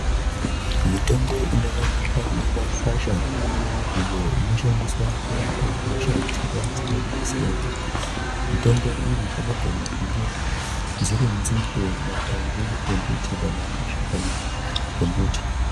Mitombo inoonekwa mimakwasha iyo inoshandiswa kurapa hosha dzakasiyanasiyana mitombo iyi inogona kunge dziri nzinde makwande embiti kana mashakani embiti.